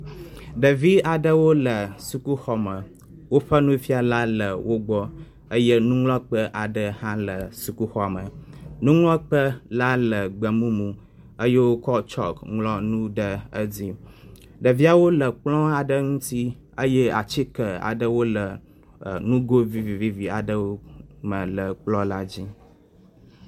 Ɖevi aɖewo le sukuxɔme, woƒe nufiala le wo gbɔ eye nuŋlɔkpe aɖe hã le sukuxɔa me. Nuŋlɔkpe la le gbemumu eye wokɔ tsɔki ŋlɔ nu ɖe edzi. Ɖeviawo le kplɔ̃ aɖe ŋuti eye atike aɖe wole nugo vivi aɖewo me le kplɔ̃a dzi.